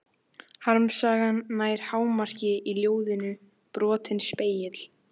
Harmsagan nær hámarki í ljóðinu Brotinn spegill.